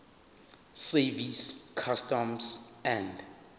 service customs and